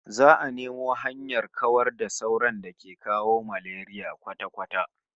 Za'a nemo hanyar kawar da sauron da ke kawo malaria kwata-kwata